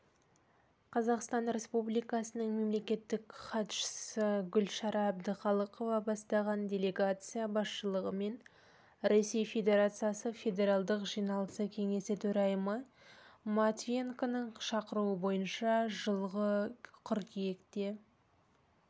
қазақстан республикасының мемлекеттік хатшысы гүлшара әбдіқалықова бастаған делегация басшылығымен ресей федерациясы федералдық жиналысы кеңесі төрайымы матвиенконың шақыруы бойынша жылғы қыркүйекте